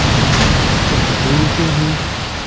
कुछ फूल के भी--